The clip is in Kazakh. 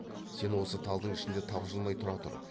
сен осы талдың ішінде тапжылмай тұра тұр